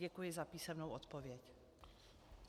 Děkuji za písemnou odpověď.